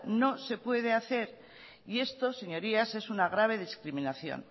no se puede hacer y esto señorías es una grave discriminación